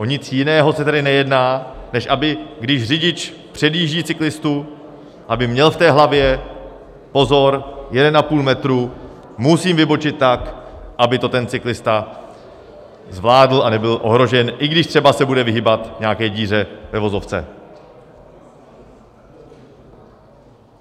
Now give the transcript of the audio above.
O nic jiného se tady nejedná, než aby když řidič předjíždí cyklistu, aby měl v hlavě: Pozor, 1,5 metru, musím vybočit tak, aby to ten cyklista zvládl a nebyl ohrožen, i když třeba se bude vyhýbat nějaké díře ve vozovce.